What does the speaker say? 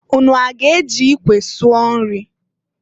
Unu aga-eji ikwe sụọ nri?